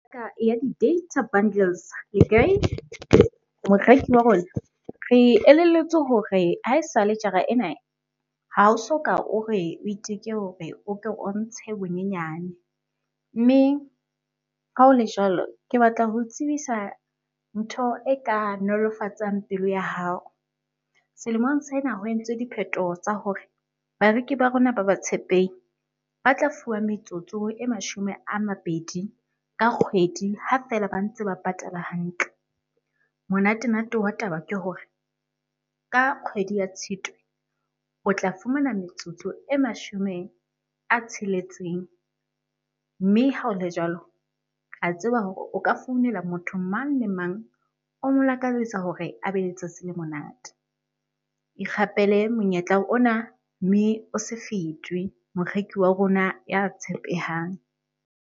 Ya di-data bundles le kae? Moreki wa rona re elelletswe hore ha esale jara ena, ha o soka o re o iteke hore o ke o ntshe bonyenyane. Mme ha ho le jwalo, ke batla ho o tsebisa ntho e ka nolofatsang pelo ya hao. Selemong sena ho entswe diphethoho tsa hore bareki ba rona ba batshepehi ba tla fuwa metsotso e mashome a mabedi ka kgwedi, ha feela ba ntse ba patala hantle. Monate-nate wa taba ke hore, ka kgwedi ya Tshitwe o tla fumana metsotso e mashome a tsheletseng. Mme ha ho le jwalo, re a tseba hore o ka founela motho mang le mang o mo lakalletsa hore a be le letsatsi le monate. Ikgapele monyetla ona mme o se fetwe. Moreki wa rona ya tshepehang.